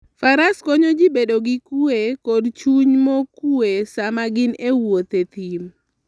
Faras konyo ji bedo gi kuwe kod chuny mokuwe sama gin e wuoth e thim.